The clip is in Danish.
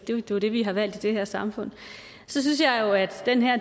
det er jo det vi har valgt i det her samfund så synes jeg jo at